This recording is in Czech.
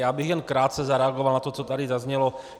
Já bych jen krátce zareagoval na to, co tady zaznělo.